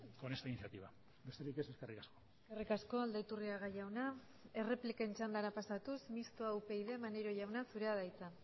con esta iniciativa besterik ez eskerrik asko eskerrik asko aldaiturriaga jauna errepliken txandara pasatuz mistoa upyd maneiro jauna zurea da hitza